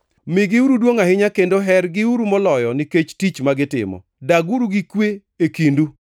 Migiuru duongʼ ahinya kendo hergiuru moloyo nikech tich ma gitimo. Daguru gi kwe e kindu.